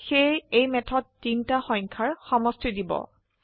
সেয়ে এই মেথড তিনটা সংখ্যাৰ সমষ্টি দিব